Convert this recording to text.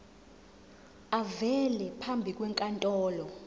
avele phambi kwenkantolo